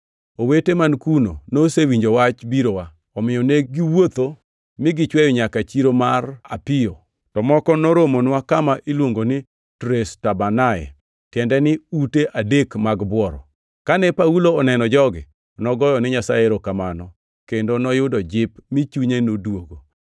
Owete man kuno nosewinjo wach birowa, omiyo ne giwuotho mi gichweyo nyaka Chiro mar Apio, to moko noromonwa kama iluongo ni Tres Tabernae, tiende ni ute adek mag bworo. Kane Paulo oneno jogi, nogoyo ne Nyasaye erokamano, kendo noyudo jip mi chunye noduogo.